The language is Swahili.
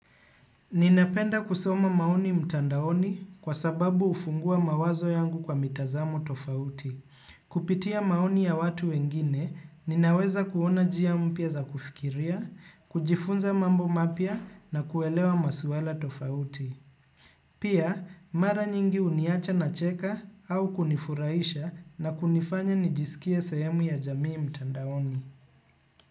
Ninapenda kusoma maoni mtandaoni kwa sababu hufungua mawazo yangu kwa mitazamo tofauti. Kupitia maoni ya watu wengine, ninaweza kuona njia mpya za kufikiria, kujifunza mambo mapya na kuelewa maswala tofauti. Pia, mara nyingi huniacha nacheka au kunifurahisha na kunifanya nijisikiae sehemu ya jamii mtandaoni.